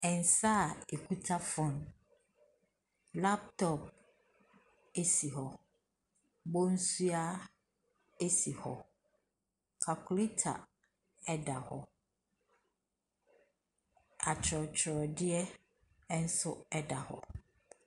Nsa a ɛkuta phone, laptop si hɔ, bonsua si hɔ, calculator da hɔ. atworɔtworɔdeɛ nso da hɔ.